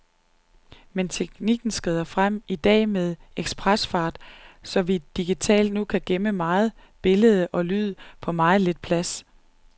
Men teknikken skrider frem, i dag med ekspresfart, så vi digitalt nu kan gemme meget billede og lyd på meget lidt plads.